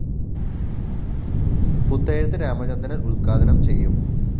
പുത്തേഴത്ത് രാമചന്ദ്രന്‍ ഉദ്ഘാടനം ചെയ്യും